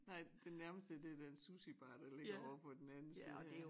Nej det nærmeste det den sushibar der ligger ovre på den anden side af